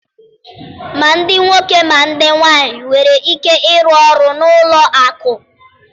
Ma ndị nwoke ma ndị nwaanyị nwere ike ịrụ ọrụ na ụlọ akụ